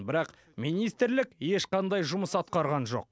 бірақ министрлік ешқандай жұмыс атқарған жоқ